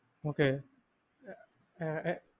okay ah uh